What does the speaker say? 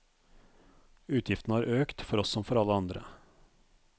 Utgiftene har økt, for oss som for alle andre.